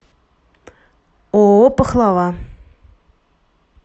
ооо пахлава